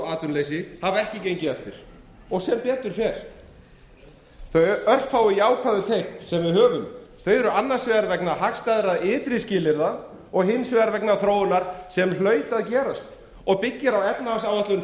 atvinnuleysi hafa ekki gengið eftir og sem betur fer þau örfáu jákvæðu teikn sem við höfum eru annars vegar vegna hagstæðra ytri skilyrða og hins vegar vegna þróunar sem hlaut að gerast og byggir á efnahagsáætlun